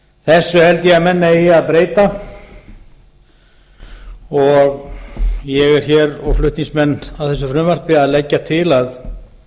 þessu held ég að menn eigi að breyta og ég og flutningsmenn á þessu frumvarpi erum hér að leggja til að